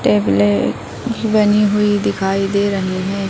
Table ज बनी हुई दिखाई दे रही है।